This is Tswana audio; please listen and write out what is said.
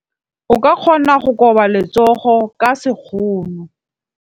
O ka kgona go koba letsogo ka sekgono.